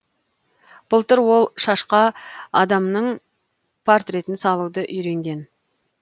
былтыр ол шашқа адамның портретін салуды үйренген